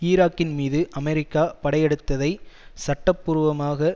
ஈராக்கின் மீது அமெரிக்கா படையெடுத்ததை சட்ட பூர்வமாக